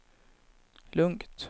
lugnt